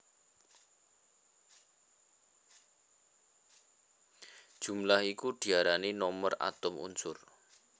Jumlah iku diarani nomer atom unsur